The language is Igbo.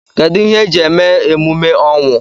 Kedụ ihe eji eme emume ọnwụ?